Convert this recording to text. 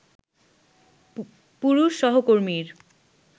পুরুষ সহকর্মীর